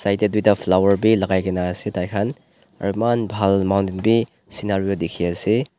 side te duita flower bhi logai kina ase tai khan eman bhan mountent bhi scenari te dekhi ase.